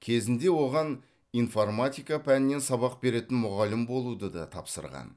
кезінде оған информатика пәнінен сабақ беретін мұғалім болуды да тапсырған